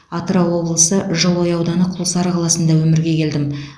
атырау облысы жылыой ауданы құлсары қаласында өмірге келдім